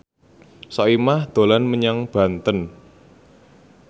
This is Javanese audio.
Soimah dolan menyang Banten